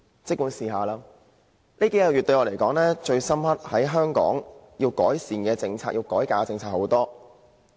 這數個月來，我覺得最深刻的......香港有很多政策需要改革和改善。